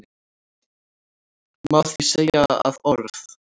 Má því segja að orð